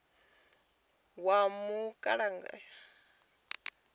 wa mulamukanyi ndi wa u